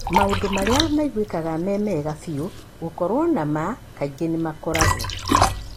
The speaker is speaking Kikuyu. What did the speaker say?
Maũndũ marĩa maiguĩkaga me mega biũ gũkoro ma maa kaingĩ nĩmakoragwo.